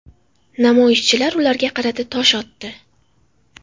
Namoyishchilar ularga qarata tosh otdi.